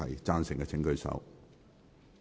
贊成的請舉手。